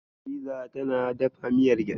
Hadiza tana dafa miyar gyaɗa.